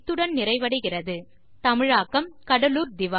இத்துடன் டுடோரியல் நிறைவடைகிறது